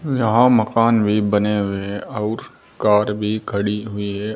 यहां मकान भी बने हुए हैं अउर कार भी खड़ी हुई है।